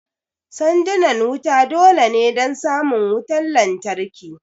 Sandunan wuta dole ne don samun wutan lantarki